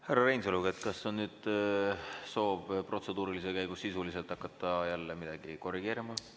Härra Reinsalu, kas nüüd on soov protseduurilise käigus sisuliselt hakata jälle midagi korrigeerima?